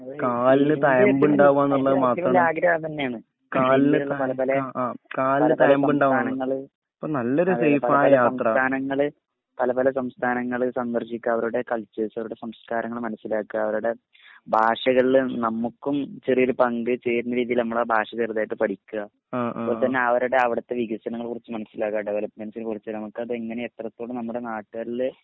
പല പല പല പല സംസഥാനങ്ങൾ പല പല സംസഥാനങ്ങൾ സന്ദർശിക്ക അവരുടെ കൽച്ചേർസ് അവരുടെ സംസ്കാരങ്ങൾമനസ്സിലാക്ക അവരുടെ ഭാഷകളിൽ നമ്മുക്കും ചെറിയൊരു പങ്ക് ചേരണരീതീല് നമ്മൾ ആ ഭാഷ ചെറുതായിട്ട്പടിക്ക അതുപോലതഞ്ഞേ അവരുടെ അവിടത്തെ വികസനങ്ങളെ കുറിച്ച് മനസ്സിലാക്ക ഡെവലപ്പ്മെന്സിനെ കുറിച് നമുക്കത് എങ്ങനെഎത്രത്തോളംനമ്മുടെ നാട്ടാളിൽ